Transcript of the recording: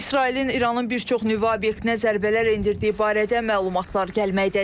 İsrailin İranın bir çox nüvə obyektinə zərbələr endirdiyi barədə məlumatlar gəlməkdədir.